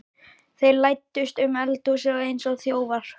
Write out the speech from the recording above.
Þeir læddust um eldhúsið eins og þjófar.